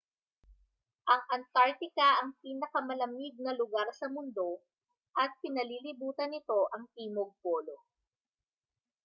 ang antartika ang pinakamalamig na lugar sa mundo at pinalilibutan nito ang timog polo